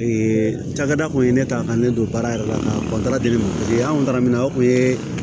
Ee cakɛda kun ye ne ta ka ne don baara yɛrɛ la ka an kun taara mina o kun ye